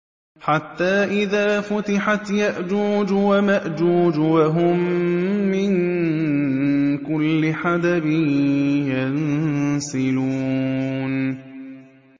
حَتَّىٰ إِذَا فُتِحَتْ يَأْجُوجُ وَمَأْجُوجُ وَهُم مِّن كُلِّ حَدَبٍ يَنسِلُونَ